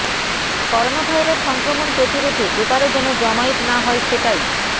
coronavirus সংক্রমণ প্রতিরোধে এবারে যেন জমায়েত না হয় সেটাই